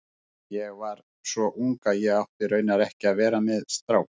Ég var svo ung að ég átti raunar ekki að vera með strák.